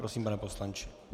Prosím, pane poslanče.